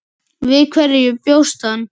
Við hverju bjóst hann?